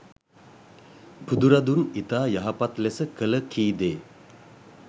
බුදුරදුන් ඉතා යහපත් ලෙස කළ, කීදේ,